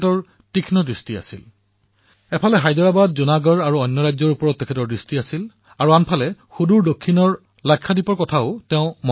এফালে তেওঁৰ দৃষ্টি হায়দৰাবাদ জুনাগড় আৰু অন্য ৰাজ্যসমূহৰ ওপৰত নিৱদ্ধ আছিল আৰু আনফালে তেওঁৰ ধ্যান দূৰসুদূৰৰ দক্ষিণৰ লাক্ষাদ্বীপৰ ওপৰতো আছিল